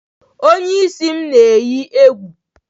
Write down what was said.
Onye isi m eyi egwu